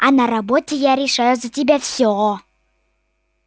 а на работе я решаю за тебя все